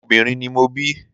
Ọmọ obìnrin ni mo bí.